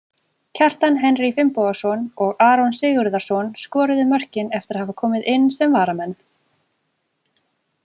Kjartan Henry Finnbogason og Aron Sigurðarson skoruðu mörkin eftir að hafa komið inn sem varamenn.